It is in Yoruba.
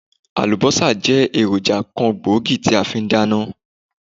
Àlùbósà jẹ́ èròjà kan gbòógì tí a fi n dáná